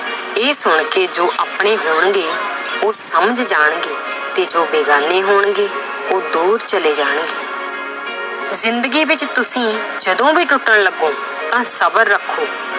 ਇਹ ਸੁਣ ਕੇ ਜੋ ਆਪਣੇ ਹੋਣਗੇ ਉਹ ਸਮਝ ਜਾਣਗੇ ਤੇ ਜੋ ਬੇਗਾਨੇ ਹੋਣਗੇ ਉਹ ਦੂਰ ਚਲੇ ਜਾਣਗੇ ਜ਼ਿੰਦਗੀ ਵਿੱਚ ਤੁਸੀਂ ਜਦੋਂ ਵੀ ਟੁੱਟਣ ਲੱਗੋ ਤਾਂ ਸਬਰ ਰੱਖੋ